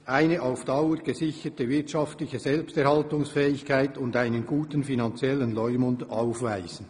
«eine auf Dauer gesicherte wirtschaftliche Selbsterhaltungsfähigkeit und einen guten finanziellen Leumund aufweisen.